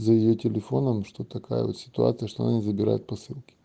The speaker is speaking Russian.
за её телефоном что такая вот ситуация что они забирают посылки